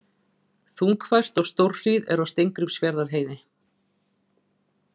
Þungfært og stórhríð er á Steingrímsfjarðarheiði